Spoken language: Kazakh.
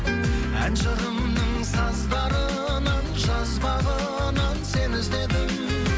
ән жырымның саздарынан жазбағынан сені іздедім